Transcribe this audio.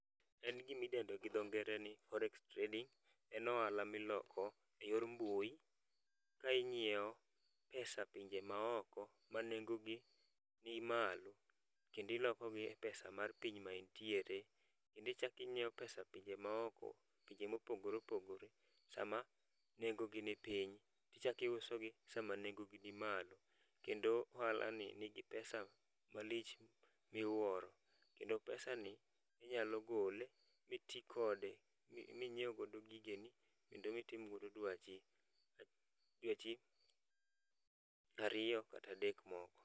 En gima idendo gi dho ngere ni Forex trading. En ohala miloko eyor mbui, ka ing'iewo pesa pinje maoko manengogi ni malo kendo ilokogi e pesa mar piny ma intiere, kendo ichako ing‘iewo pesa pinje maoko, pinje mopogore opogore sama nengo gi nipiny tichako iusogi sama nengogi ni malo. Kendo ohalani nigi pesa malich miuoro. Kendo pesan i inyalo gole miti kode minyiew godo gigeni. Kendo mitim godo dwachi, dwachi ariyo kata adek moko.